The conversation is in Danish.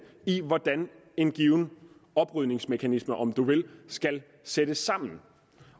i hvordan en given oprydningsmekanisme om man vil skal sættes sammen